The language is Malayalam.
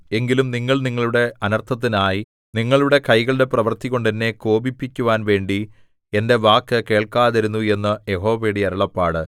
എങ്കിലും നിങ്ങൾ നിങ്ങളുടെ അനർത്ഥത്തിനായി നിങ്ങളുടെ കൈകളുടെ പ്രവൃത്തികൊണ്ട് എന്നെ കോപിപ്പിക്കുവാൻ വേണ്ടി എന്റെ വാക്കു കേൾക്കാതിരുന്നു എന്ന് യഹോവയുടെ അരുളപ്പാട്